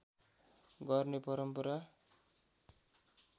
गर्ने परम्परा